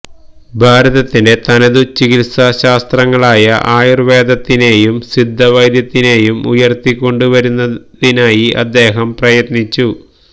ഭാരതത്തിന്റെ തനതു ചികിത്സാശാസ്ത്രങ്ങളായ ആയുര്വ്വേദത്തിനേയും സിദ്ധവൈദ്യത്തിനേയും ഉയര്ത്തിക്കൊണ്ട് വരുന്നതിനായി അദ്ദേഹം പ്രയത്നിച്ചു